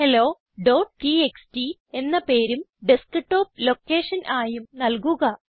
hello TXT എന്ന പേരും desktop location ആയും നല്കുക